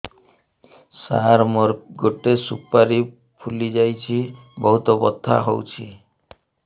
ସାର ମୋର ଗୋଟେ ସୁପାରୀ ଫୁଲିଯାଇଛି ବହୁତ ବଥା ହଉଛି